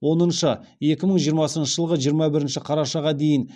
оныншы екі мың жиырмасыншы жылғы жиырма бірінші қарашаға дейін